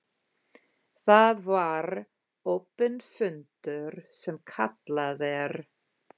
Það var opinn fundur, sem kallað er.